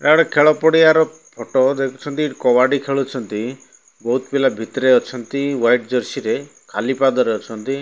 ଏଟା ଗୋଟେ ଖେଳ ପଡିଆର ଫଟ ଦେଖୁଛନ୍ତି ଏଠି କବାଡି ଖେଳୁଛନ୍ତି ବୋହୁତ୍ ପିଲା ଭିତରେ ଅଛନ୍ତି ୱାଇଟ୍ ଜର୍ସି ରେ ଖାଲି ପାଦରେ ଅଛନ୍ତି।